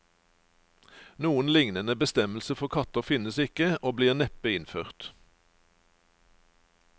Noen lignende bestemmelse for katter finnes ikke, og blir neppe innført.